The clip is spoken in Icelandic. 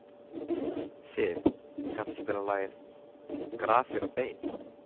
Siv, kanntu að spila lagið „Grafir og bein“?